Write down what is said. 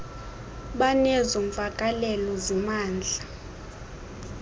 banezo mvakalelo zimandla